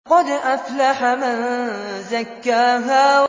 قَدْ أَفْلَحَ مَن زَكَّاهَا